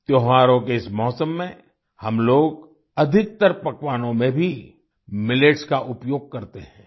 त्योहारों के इस मौसम में हम लोग अधिकतर पकवानों में भी मिलेट्स का उपयोग करते हैं